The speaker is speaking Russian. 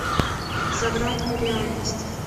за гранью реальности